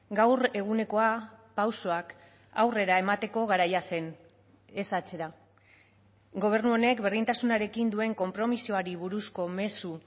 gaur egunekoa pausoak aurrera emateko garaia zen ez atzera gobernu honek berdintasunarekin duen konpromisoari buruzko mezu